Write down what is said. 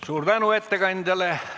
Suur tänu ettekandjale!